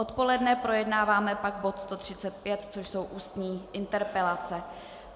Odpoledne projednáváme pak bod 135, což jsou ústní interpelace.